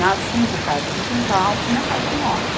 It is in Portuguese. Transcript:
Nas cinco casas do quintal e na casa nossa.